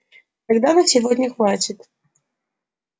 тогда на сегодня хватит